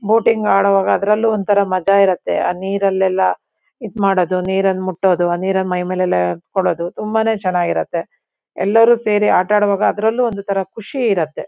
Boating ಆಡ್ವಾಗ ಅದ್ರಲ್ಲೂ ಒಂತರ ಮಜಾ ಇರುತ್ತೆ ಆ ನೀರಲ್ಲೆಲ್ಲ ಇದ್ ಮಾಡೋದು ನೀರನ್ ಮುಟ್ಟೋದು ಆ ನೀರನ್ ಮೈಮೇಲೆಲ್ಲ ತುಂಬಾನೇ ಚೆನ್ನಾಗಿರತ್ತೆ ಎಲ್ಲರು ಸೇರಿ ಆಟಾಡ್ವಾಗ ಅದ್ರಲ್ಲೂ ಒಂದು ತರ ಖುಷಿ ಇರತ್ತೆ.